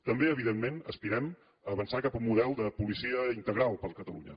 també evidentment aspirem a avançar cap a un model de policia integral per a catalunya